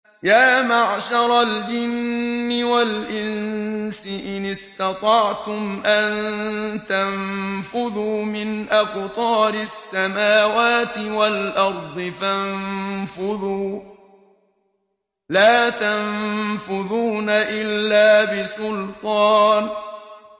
يَا مَعْشَرَ الْجِنِّ وَالْإِنسِ إِنِ اسْتَطَعْتُمْ أَن تَنفُذُوا مِنْ أَقْطَارِ السَّمَاوَاتِ وَالْأَرْضِ فَانفُذُوا ۚ لَا تَنفُذُونَ إِلَّا بِسُلْطَانٍ